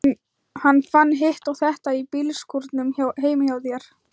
Hann fann hitt og þetta í bílskúrnum heima hjá þér.